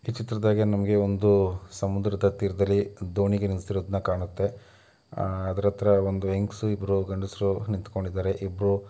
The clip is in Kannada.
ಈ ಚಿತ್ರದಗೆ ನಮಗೆ ಒಂದು ಸಮುದ್ರದ ತೀರದಲ್ಲಿ ದೋಣಿ ನಿಂತಿರೋದು ಕಾಣುತ್ತೆ. ಅಹ್ ಅದ್ರ ಹತ್ರ ಒಂದು ಹೆಂಗಸು ಇಬ್ಬರು ಗಂಡಸರು ನಿಂತ್ಕೊಂಡಿದ್ದಾರೆ ಇಬ್ಬರು--